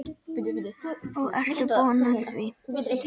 Og ertu búin að því?